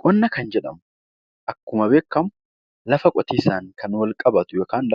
Qonna kan jedhamu akkuma beekamu lafa qotiisaan kan wal qabatu yookiin